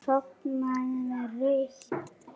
Sofnaði með rautt enni.